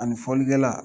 Ani fɔlikɛla